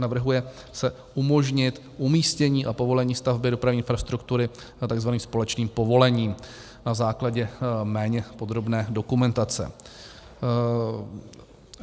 Navrhuje se umožnit umístění a povolení stavby dopravní infrastruktury tzv. společným povolením na základě méně podrobné dokumentace.